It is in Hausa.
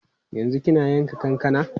Yanzu kina yanka kankana?